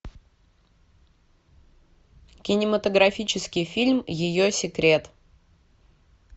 кинематографический фильм ее секрет